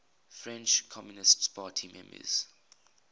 french communist party members